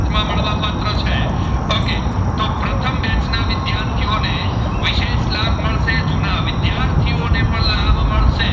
વિદ્યાર્થીઓ ને વીસેશ લાભ મળસે જૂના વિદ્યાર્થીઓ ને પણ લાભ મળસે,